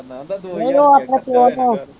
ਨਹੀਂ ਉਹ ਆਪਣੇ ਪਿਓ ਤੋਂ